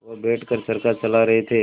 वह बैठ कर चरखा चला रहे थे